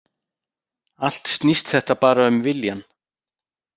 Allt snýst þetta bara um viljann